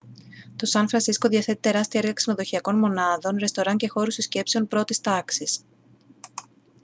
το σαν φρανσίσκο διαθέτει τεράστια έργα ξενοδοχειακών μονάδων ρεστοράν και χώρους συσκέψεων πρώτης τάξης